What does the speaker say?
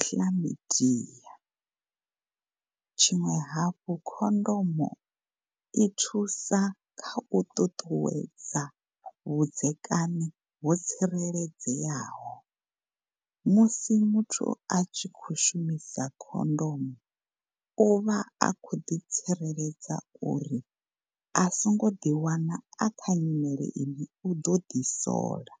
Chlamydia. Tshiṅwe hafhu khondomo i thusa kha u ṱuṱuwedza vhudzekani ho tsireledzeaho musi muthu a tshi khou shumisa khondomo u vha a khou ḓi tsireledza uri a songo ḓi wana a kha nyimele ine u ḓo ḓi sola.